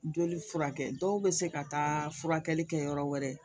Joli furakɛ dɔw be se ka taa furakɛli kɛ yɔrɔ wɛrɛ